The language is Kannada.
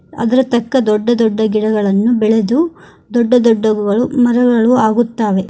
ಅದರ ತಕ್ಕ ದೊಡ್ಡ ದೊಡ್ದ ಗಿಡಗಳನ್ನು ಬೆಳೆದು ದೊಡ್ಡ ದೊಡ್ಡ ಗಳು ಮರಗಳು ಆಗುತ್ತಾವೆ.